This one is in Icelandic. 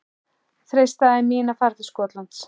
Freistaði mín að fara til Skotlands?